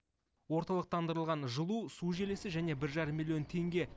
орталықтандырылған жылу су желісі және бір жарым миллион теңге